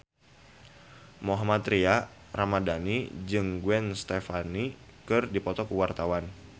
Mohammad Tria Ramadhani jeung Gwen Stefani keur dipoto ku wartawan